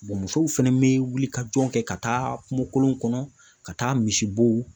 musow fɛnɛ bɛ wulikajɔ kɛ ka taa kungolo kɔnɔ ka taa misibo.